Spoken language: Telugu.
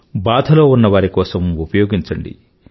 బాధలో ఉన్నవారి కోసం ఉపయోగించండి